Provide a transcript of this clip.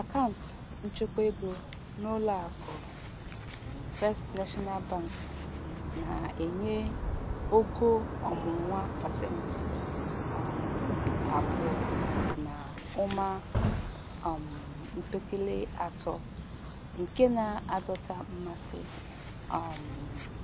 Akaụntụ nchekwaego n'ụlọakụ First National Bank na-enye ogo ọmụrụ pasentị um abụọ na ụma um mpekele atọ nke na-adọta mmasị. um